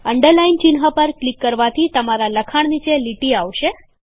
underline ચિહ્ન પર click કરવાથી તમારાં લખાણ નીચે લીટી આવશે